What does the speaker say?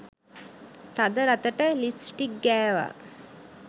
තද රතට ලිප්ස්ටික් ගෑවා.